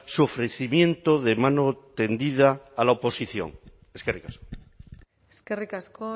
su ofrecimiento de mano tendida a la oposición eskerrik asko eskerrik asko